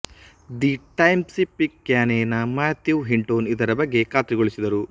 the Times Picayune ನ Matthew Hinton ಇದರ ಬಗ್ಗೆ ಖಾತ್ರಿಗೊಳಿಸಿದರು